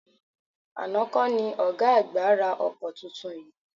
Àná kọ́ ni ọ̀gá àgbà ra ọkọ tuntun yìí?